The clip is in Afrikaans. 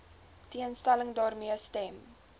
teenstelling daarmee stem